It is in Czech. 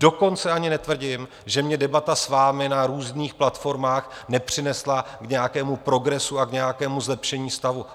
Dokonce ani netvrdím, že mě debata s vámi na různých platformách nepřinesla k nějakému progresu a k nějakému zlepšení stavu.